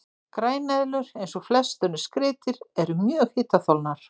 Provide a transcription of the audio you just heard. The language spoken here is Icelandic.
Græneðlur, eins og flest önnur skriðdýr, eru mjög hitaþolnar.